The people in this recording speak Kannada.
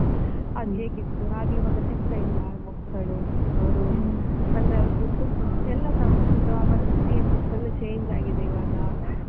ಅದ್ ಹೇಗಿತ್ತು ಹಾಗೆ ಈವಾಗ ಸಿಗ್ತಾ ಇಲ್ಲ ಮಕ್ಕಳು. ಅವರು ಅಂದ್ರೆ ಅವರದ್ದು ಎಲ್ಲಸ ಒಂದು ಆ ಮನಸ್ಥಿತಿಯೆ full change ಆಗಿದೆ ಈವಾಗ.